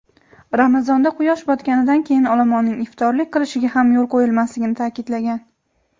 Ramazonda quyosh botganidan keyin olomonning iftorlik qilishiga ham yo‘l qo‘yilmasligini ta’kidlagan.